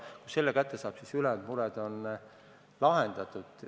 Kui selle otsuse kätte saab, siis ülejäänud mured on lahendatud.